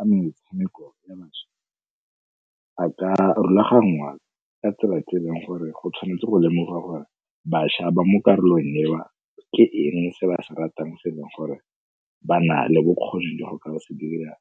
A metshameko ya bašwa a ka rulaganngwa ka tsela tse e leng gore go tshwanetswe go lemoga gore bašwa ba mo karolo eo ke eng se ba se ratang selong gore ba na le bokgoni le go ka ba se dirang